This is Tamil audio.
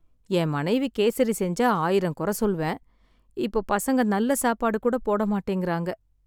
என் மனைவி கேசரி செஞ்சா ஆயிரம் கொற சொல்வேன், இப்ப பசங்க நல்ல சாப்பாடு கூட போட மாட்டேங்கிறாங்க.